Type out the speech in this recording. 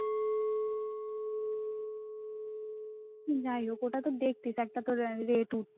যাইহোক ওটা তো দেখতিস একটা তো rate উঠ